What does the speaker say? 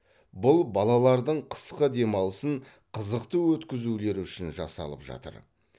бұл балалардың қысқы демалысын қызықты өткізулері үшін жасалып жатыр